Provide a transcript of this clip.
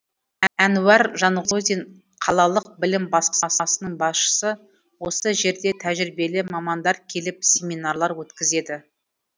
әнуар жанғозин қалалық білім басқармасының басшысы осы жерде тәжірибелі мамандар келіп семинарлар өткізеді